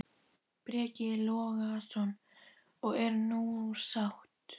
Breki Logason: Og er hún sátt?